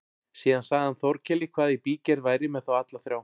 Síðan sagði hann Þórkeli hvað í bígerð væri með þá alla þrjá.